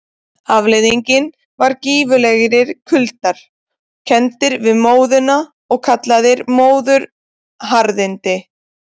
Afleiðingin var gífurlegir kuldar, kenndir við móðuna og kallaðir móðuharðindi.